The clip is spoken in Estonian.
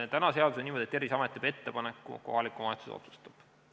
Tänane seadus näeb ette niimoodi, et Terviseamet teeb ettepaneku, kohalik omavalitsus otsustab.